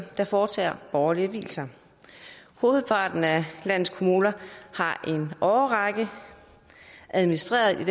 der foretager borgerlige vielser hovedparten af landets kommuner har i en årrække administreret i